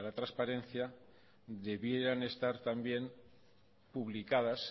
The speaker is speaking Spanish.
transparencia debieran estar también publicadas